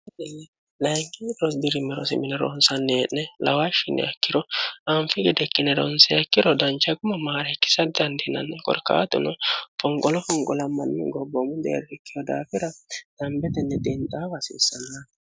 layingi rosbirimerosi mine rohonsannihee'ne lawaahshiniyakkiro aanfi gedekkine ronseyakkiro dancha quma maariikkisa dandihinanni qorkaatuno fonqolo fonqolammanni gobboomu deerrikkiho daakira dambetenni diinxaafa hasiissanna